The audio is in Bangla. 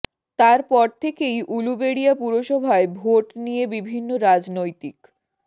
তার পর থেকেই উলুবেড়িয়া পুরসভায় ভোট নিয়ে বিভিন্ন রাজনৈতিক